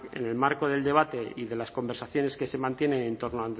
en el marco del debate y de las conversaciones que se mantienen en torno